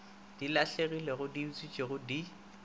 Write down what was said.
di lahlegilego di utswitšwego di